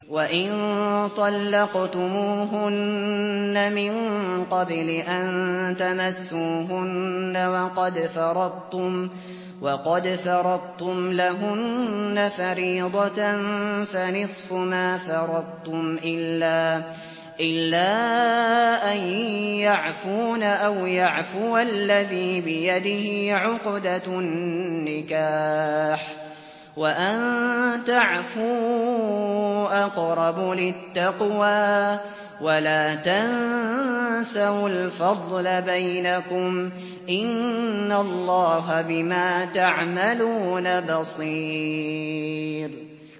وَإِن طَلَّقْتُمُوهُنَّ مِن قَبْلِ أَن تَمَسُّوهُنَّ وَقَدْ فَرَضْتُمْ لَهُنَّ فَرِيضَةً فَنِصْفُ مَا فَرَضْتُمْ إِلَّا أَن يَعْفُونَ أَوْ يَعْفُوَ الَّذِي بِيَدِهِ عُقْدَةُ النِّكَاحِ ۚ وَأَن تَعْفُوا أَقْرَبُ لِلتَّقْوَىٰ ۚ وَلَا تَنسَوُا الْفَضْلَ بَيْنَكُمْ ۚ إِنَّ اللَّهَ بِمَا تَعْمَلُونَ بَصِيرٌ